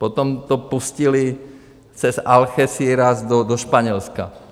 Potom to pustili přes Algeciras do Španělska.